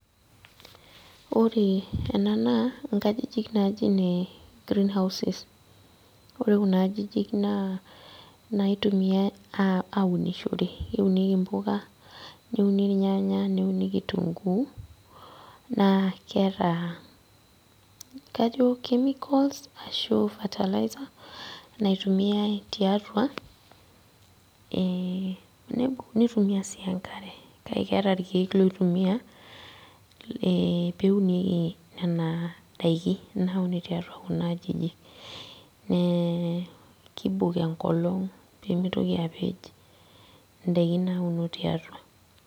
Ore ena naa nkajijik naji ine green houses. Ore kuna ajijik naa inaaitumiay aunishore, keunieki impuka , neuniki irnyanya, neunieki kituguu naa kajo keeta kajo chemicals ashua fertilizers naitumiay tiatua ee nitumia sii enkare, kake keeti irkiek loitumia e peunie nena daiki naunie tiatua kuna ajijik . Ee kibok enkolong pemitoki apej indaikin nauno tiatua.